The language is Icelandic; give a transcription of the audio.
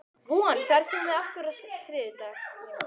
Von, ferð þú með okkur á þriðjudaginn?